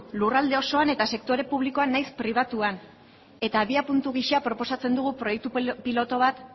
lurralde osoan eta sektore publikoan nahiz pribatuan eta abiapuntu gisa proposatzen dugu proiektu pilotu bat